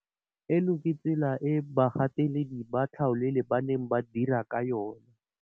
Eno ke tsela e bagateledi ba tlhaolele ba neng ba dira ka yona.